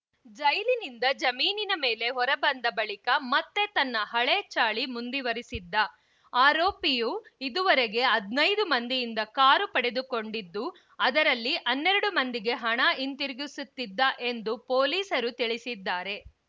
ಜೈಲಿನಿಂದ ಜಮೀನಿನ ಮೇಲೆ ಹೊರ ಬಂದ ಬಳಿಕ ಮತ್ತೆ ತನ್ನ ಹಳೆ ಚಾಳಿ ಮುಂದಿವರೆಸಿದ್ದ ಆರೋಪಿಯು ಇದುವರೆಗೆ ಹದ್ನೈದು ಮಂದಿಯಿಂದ ಕಾರು ಪಡೆದುಕೊಂಡಿದ್ದು ಅದರಲ್ಲಿ ಹನ್ನೆರಡು ಮಂದಿಗೆ ಹಣ ಹಿಂದಿರುಗಿಸುತ್ತಿದ್ದ ಎಂದು ಪೊಲೀಸರು ತಿಳಿಸಿದ್ದಾರೆ